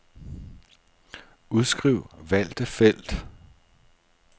Udskriv valgte felt.